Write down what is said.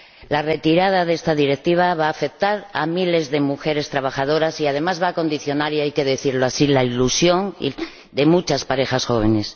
La retirada de esta Directiva va a afectar a miles de mujeres trabajadoras y, además, va a condicionar —y hay que decirlo así— la ilusión de muchas parejas jóvenes.